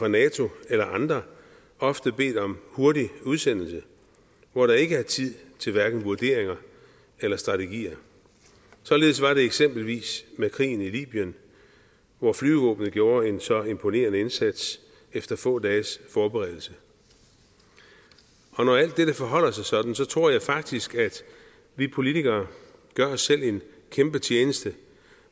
nato eller af andre ofte bedt om hurtig udsendelse hvor der ikke er tid til hverken vurderinger eller strategier således var det eksempelvis med krigen i libyen hvor flyvevåbenet gjorde en så imponerende indsats efter få dages forberedelse når alt dette forholder sig sådan tror jeg faktisk at vi politikere gør os selv en kæmpe tjeneste